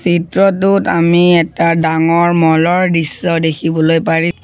চিত্ৰটোত আমি এটা ডাঙৰ ম'ল ৰ দৃশ্য দেখিবলৈ পাৰি--